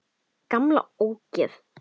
Gamla ógeð!